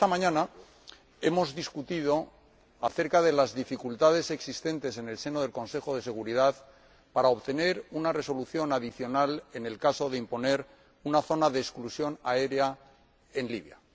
Esta mañana hemos debatido acerca de las dificultades existentes en el seno del Consejo de Seguridad para obtener una resolución adicional en el caso de imponer una zona de exclusión aérea en Libia.